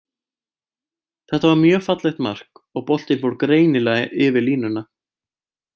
Þetta var mjög fallegt mark, og boltinn fór greinilega yfir línuna.